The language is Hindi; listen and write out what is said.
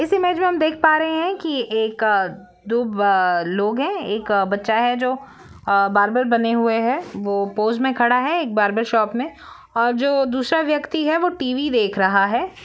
इस इमेज मे हम देख पा रहे है की ये एक अ-दो-बा लोग है एक बच्चा है जो बार्बर बने हुए है वो पोज़ मे खड़ा है एक बार्बर शॉप मे और जो दूसरा व्यक्ति है वो टी.वी देख रहा है।